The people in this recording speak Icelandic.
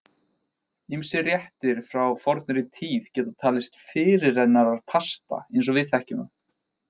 Ýmsir réttir frá fornri tíð geta talist fyrirrennarar pasta eins og við þekkjum það.